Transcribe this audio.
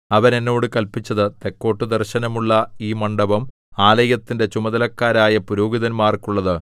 അവൻ എന്നോട് കല്പിച്ചത് തെക്കോട്ടു ദർശനമുള്ള ഈ മണ്ഡപം ആലയത്തിന്റെ ചുമതലക്കാരായ പുരോഹിതന്മാർക്കുള്ളത്